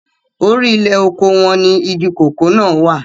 orí ilẹ̀ oko wọn ni igi kòkó náà wà